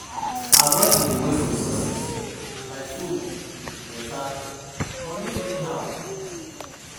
Avoid to dey waste resources like food, water, money anyhow